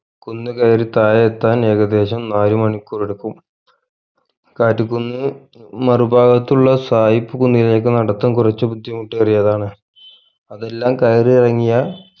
കുന്ന് കയറി തായേ എത്താൻ ഏകദേശം നാല് മണിക്കൂറെടുക്കും കാറ്റ് കുന്ന് മറുപാകത്തുള്ള സായിപ്പ് കുന്നിലേക്ക് നടത്തം കുറച് ബുദ്ധിമുട്ടേറിയതാണ് അതെല്ലാം കയറി ഇറങ്ങിയാൽ